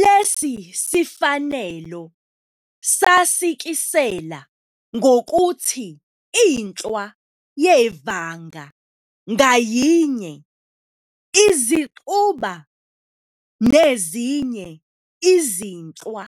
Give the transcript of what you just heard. Lesi sifanelo sasikisela ukuthi inhlwa yevanga ngayinye izixuba nezinye izinhlwa